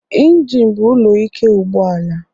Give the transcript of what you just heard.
Ịnginu bụ ụlọ ike ụgbọala